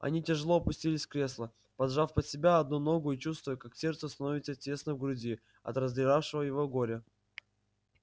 они тяжело опустились кресло поджав под себя одну ногу и чувствуя как сердцу становится тесно в груди от раздиравшего его горя